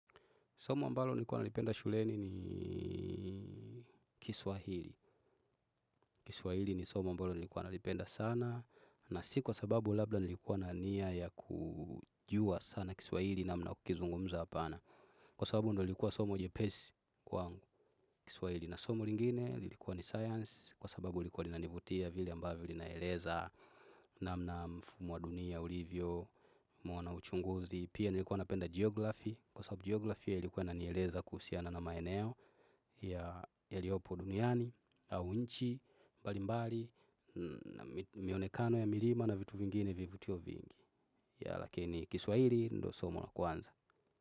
Somo ambalo nilikuwa nalipenda shuleni ni Kiswahili. Kiswahili ni somo ambalo nilikuwa nalipenda sana na si kwa sababu labda nilikuwa nania ya kujua sana Kiswahili na mna ya kukizungumza hapana. Kwa sababu ndo ilikuwa somo nyepesi kwangu. Kiswahili na somo lingine lilikuwa ni science kwa sababu nilikuwa nina nivutia vile ambayo lina eleza na mna mfumo wa dunia, ulivyo, nimeona uchunguzi. Pia nilikuwa napenda geografi, kwa sababu geografi ya ilikuwa inanieleza kuhusiana na maeneo ya liopo duniani, au inchi, mbalimbali, mionekano ya mirima na vitu vingine vivutio vingi. Ya lakini kiswahili, ndo somo la kwanza.